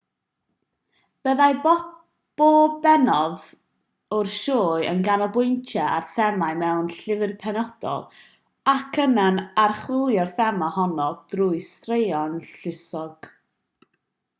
byddai pob pennod o'r sioe yn canolbwyntio ar thema mewn llyfr penodol ac yna'n archwilio'r thema honno drwy straeon lluosog